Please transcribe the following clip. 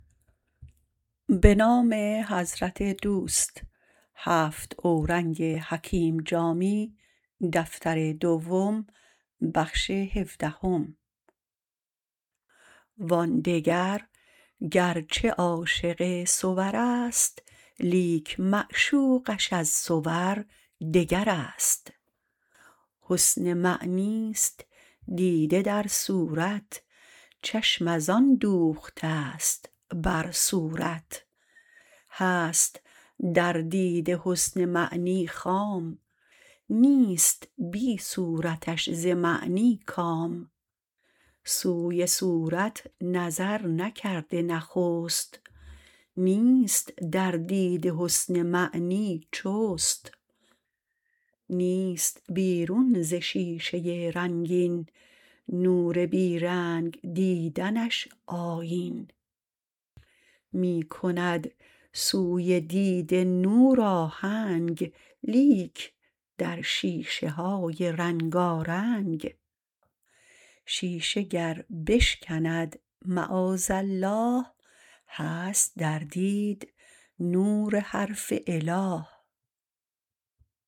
وان دگر گرچه عاشق صور است لیک معشوقش از صور دگر است حسن معنیست دیده در صورت چشم ازان دوخته ست بر صورت هست در دیده حسن معنی خام نیست بی صورتش ز معنی کام سوی صورت نظر نکرده نخست نیست در دید حسن معنی جست نیست بیرون ز شیشه رنگین نور بی رنگ دیدنش آیین می کند سوی دید نور آهنگ لیک در شیشه های رنگارنگ شیشه گر بشکند معاذالله هست در دید نور حرف اله